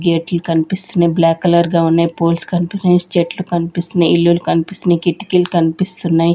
గేట్లు కన్పిస్తునయ్ black colour గా ఉన్నాయ్ పోల్స్ కన్పిస్తునయ్ చెట్లు కన్పిస్తునయ్ ఇల్లులు కన్పిస్తునయ్ కిటికీలు కన్పిస్తున్నయ్.